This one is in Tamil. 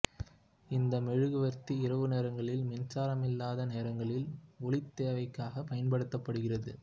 இந்த மெழுகுவர்த்தி இரவு நேரங்களில் மின்சாரமில்லாத நேரங்களில் ஒளித் தேவைக்காகப் பயன்படுத்தப்படுகிறது